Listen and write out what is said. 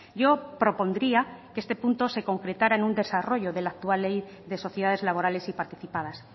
yo propondría que este punto se concretara en un desarrollo de la actual ley de sociedades laborales y participadas